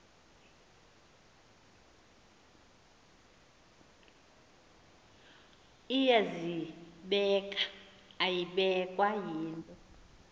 iyazibeka ayibekwa yinto